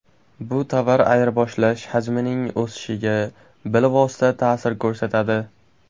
Bu tovar ayirboshlash hajmining o‘sishiga bilvosita ta’sir ko‘rsatadi.